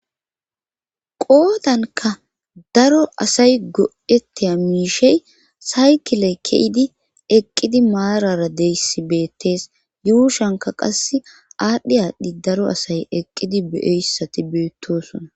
Qoodanka daro asay godetiha miishey saykiley ke7idi eqqidi maarara deyssi beettees yuushanka qas aadhdhi aadhdhi daro asay eqqidi beyoyssati beettosona.